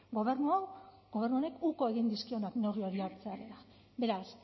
gobernu honek uko egin dizkionak neurri hori hartzearena beraz